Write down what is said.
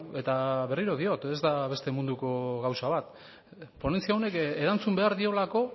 eta berriro diot ez da beste munduko gauza bat ponentzia honen erantzun behar diolako